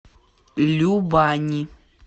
любани